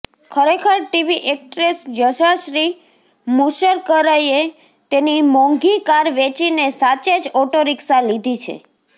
ખરેખર TV actress Yashashri મુસરકરએ તેની મોંઘી કાર વેંચીને સાચે જ ઓટો રિક્ષા લિધી છે